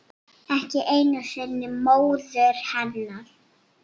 Ekki einu sinni móður hennar.